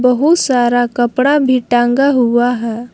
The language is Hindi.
बहुत सारा कपड़ा भी टांगा हुआ है।